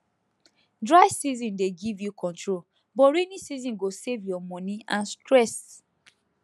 dry season dey give you control but rainy season go save your money and stress